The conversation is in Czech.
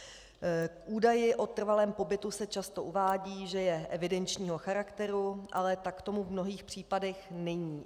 V údaji o trvalém pobytu se často uvádí, že je evidenčního charakteru, ale tak tomu v mnohých případech není.